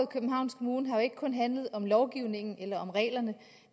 københavns kommune har jo ikke kun handlet om lovgivningen eller om reglerne